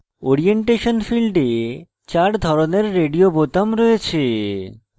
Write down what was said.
orientation ফীল্ডে 4 ধরনের radio বোতাম রয়েছে